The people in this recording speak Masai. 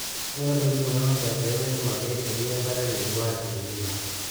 ngura ntokitin inonopeyie metum ake eruko enkare naingua El nino